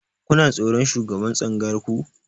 Kuna tsoron shugaban tsangayar ku?